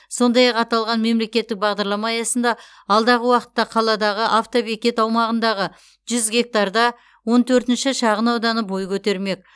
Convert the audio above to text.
сондай ақ аталған мемлекеттік бағдарлама аясында алдағы уақытта қаладағы автобекет аумағындағы жүз гектарда он төртінші шағынауданы бой көтермек